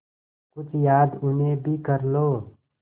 कुछ याद उन्हें भी कर लो